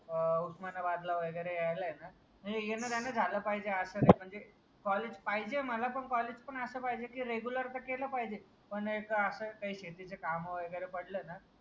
अह उस्मानाबाद ला वगैरे यायला ना म्हणजे येणं झालं पाहिजे असं नाही म्हणजे कॉलेज पाहिजे मला पण कॉलेज पण असं पाहिजे आहे की रेगुलर तर केलं पाहिजे पण एक असं काही शेतीची कामे वगैरे पडलं ना.